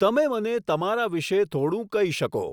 તમે મને તમારા વિષે થોડું કહી શકો